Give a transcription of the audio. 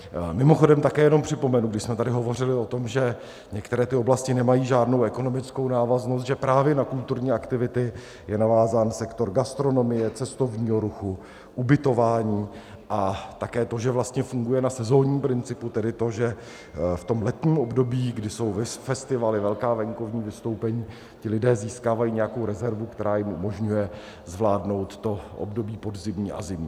Mimochodem také jenom připomenu, když jsme tady hovořili o tom, že některé ty oblasti nemají žádnou ekonomickou návaznost, že právě na kulturní aktivity je navázán sektor gastronomie, cestovního ruchu, ubytování, a také to, že vlastně funguje na sezónním principu, tedy to, že v tom letním období, kdy jsou festivaly, velká venkovní vystoupení, ti lidé získávají nějakou rezervu, která jim umožňuje zvládnout to období podzimní a zimní.